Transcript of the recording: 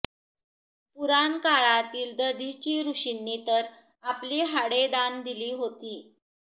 पुराणकाळातील दधिची ऋषींनी तर आपली हाडे दान दिली होती